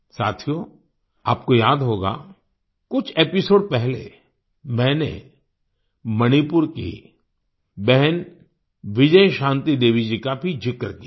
साथियो आपको याद होगा कुछ एपिसोड पहले मैंने मणिपुर की बहन विजयशांति देवी जी का भी जिक्र किया था